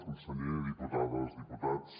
conseller diputades diputats